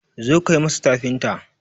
zo ka yi masa tafinta!